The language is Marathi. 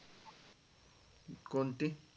कोणती?